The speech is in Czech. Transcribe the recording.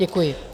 Děkuji.